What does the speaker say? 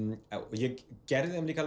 ég gerði þeim líka